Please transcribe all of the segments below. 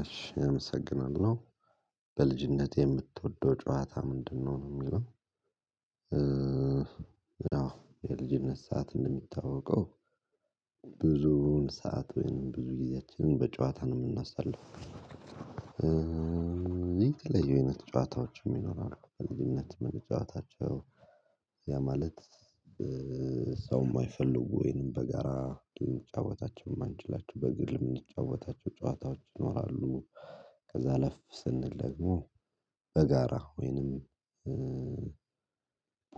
እሺ አመሰግናለሁ በልጅነትህ የምትወደው ጨዋታ ምንድነው ነው የሚለው? አዎ የልጅነት ሰዓት እንደሚታወቀው ብዙውን ሰዓት ወይንም ብዙ ጊዜያችንን በጨዋታ ነው የምናሳልፈው። የተለያዩ አይነት ጨዋታዎች ይኖራሉ በልጅነት ምንጫዋታቸው ያ ማለት ሰው የማይፈልጉ ወይንም በጋራ ልንጫወታቸው የማንችላችሁ በግል የምንጫወታቸው ጨዋታዎች ይኖራሉ። ከዛ አለፍ ስንል ደግሞ በጋራ ወይንም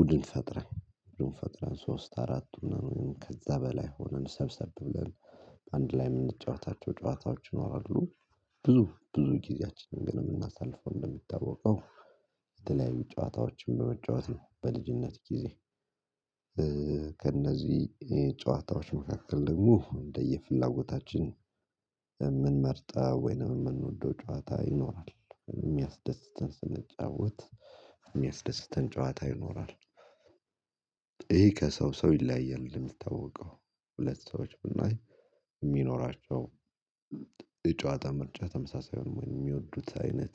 ቡድን ፈጥረን ቡድን ፈጥረን ሶስት አራት ሁነን ከዛ በላይ ሆነን ሰብሰብ ብለን አንድ ላይ የምንጫወታቸው ጨዋታዎች ይኖራሉ። ብዙ ብዙ ጊዜያችንን ግን የምናሳልፈው እንደሚታወቀው የተለያዩ ጨዋታዎችን በመጫወት በልጅነት ጊዜ ከእነዚህ ጨዋታዎች መካከል ደግሞ እንደየፍላጎታችን የምንመርጠው ወይንም የምንወደው ጨዋታ ይኖራል የሚያስደስተን ስንጫወት የሚያስደስተን ጨዋታ ይኖራል። ይሄ ከሰው ሰው ይለያያል እንደሚታወቀው ሁለት ሰዎች ብናይ የሚኖራቸው የጨዋታ ምርጫ ተመሳሳይ የሚወዱት አይነት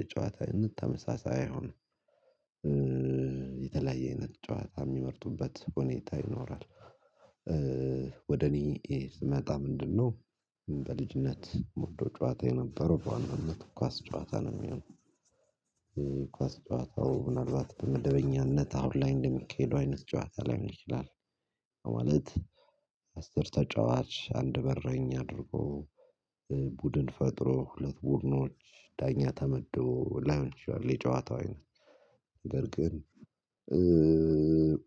የጨዋታ አይነት ተመመሳሳይ አይሆንም። የተለያየ አይነት ጨዋታ የሚመርጡበት ሁኔታ ይኖራል። ወደ እኔ ስመጣ ምንድነው? በልጅነት ምወደው ጨዋታ የነበረው በዋናነት ኳስ ጨዋታ ነው የምለው ኳስ ጨዋታው ምናልባት በመደበኛነት አሁን ላይ እንደሚሄዱ አይነት ጨዋታ ላይሆን ይችላል። ያ ማለት አስር ተጫዋች አንድ በረኛ አድርጎ ቡድን ፈጥሮ ሁለት ቡድኖች ዳኛ ተመድቦ ላይሆን ይችላል የጨዋታው አይነት። ነገር ግን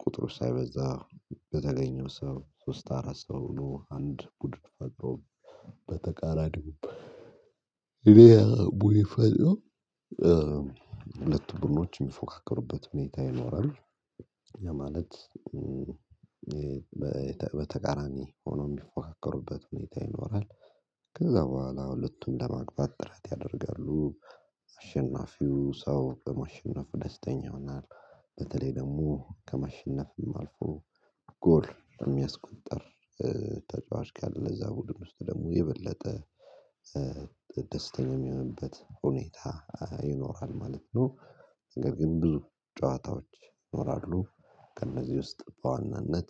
ቁጥሩ ሳይበዛ በተገኘው ሰው ሶስት አራት ሰው ሁኖ አንድ ቡድን በተቃራኒው ይሄ ቡድን ፈጥሮ ሁለት ቡድኖችን የሚፎካከሩበት ሁኔታ ይኖራል። ያ ማለት በተቃራኒ ሆኖ የሚፎካከሩበት ሁኔታ ይኖራል። ከዛ በኋላ ሁለቱም ለማግባት ጥረት ያደርጋሉ አሸናፊው ሰው ባማሸነፍ ደስተኛ ይሆናል። በተለይ ደግሞ ከመሸነፍም አልፎ ጎል የሚያስቆጥር ተጫዋች ካለ ለዛ ቡድን ውስጥ ደግሞ የበለጠ ደስተኛ የሚሆንበት ሁኔታ ይኖራል ማለት ነው። ነገር ግን ብዙ ጨዋታዎች ይኖራሉ። ከእነዚህ ውስጥ በዋናነት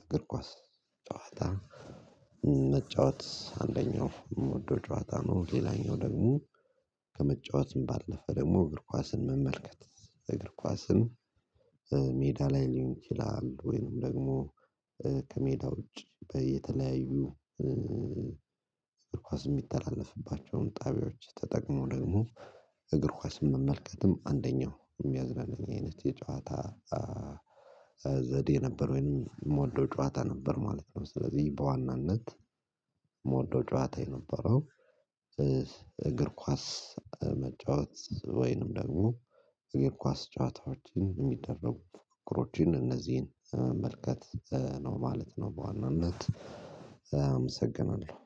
እግር ኳስ ጨዋታ መጫወት አንደኛው እምወደው ጨዋታ ነው። ሌላኛው ደግሞ ከመጫወትም ባለፈ ደግሞ እግር ኳስን መመልከት እግር ኳስን ሜዳ ላይ ሊሆን ይችላል ወይንም ደግሞ ከሜዳ ውጪ በየተለያዩ እግር ኳስ የሚተላለፍባቸውን ጣቢያዎች ተጠቅሞ ደግሞ እግር ኳስ መመልከትም አንደኛው የሚያዝናናኝ አይነት የጨዋታ ዘዴ የነበረው የምወደው ጨዋታ ነበር ማለት ነው። ስለዚህ በዋናነት መወደው ጨዋታ የነበረው እግር ኳስ መጫወት ወይንም ደግሞ የኳስ ጨዋታዎችን የሚደረጉ ፉክክሮችን እነዚህን መመልከት ነው ማለት ነው። በዋናነት አመሰግናለሁ